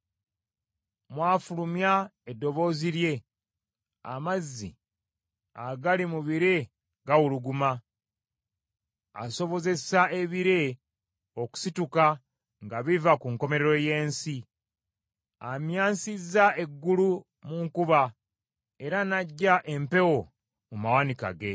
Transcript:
Bw’afulumya eddoboozi lye, amazzi agali mu bire gawuluguma, asobozesa ebire okusituka nga biva ku nkomerero y’ensi. Amyansisa eggulu mu nkuba, era n’aggya empewo mu mawanika ge.